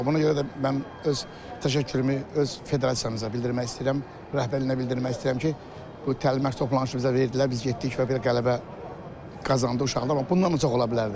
Buna görə də mən öz təşəkkürümü, öz federasiyamıza bildirmək istəyirəm, rəhbərliyinə bildirmək istəyirəm ki, bu təlim-məşq toplanışı bizə verdilər, biz getdik və belə qələbə qazandıq uşaqlar, amma bundan da çox ola bilərdi.